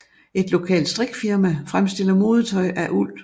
Et lokalt strikfirma fremstiller modetøj af uld